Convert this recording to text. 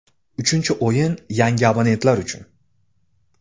Uchinchi o‘yin (tanlov) yangi abonentlar uchun!